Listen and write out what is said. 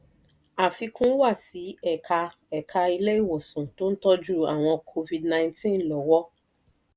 àfikún wa sí ẹ̀ka ẹ̀ka ilé ìwòsàn tó ń tọ́jú àwọn covid- nineteen lọ́wọ́.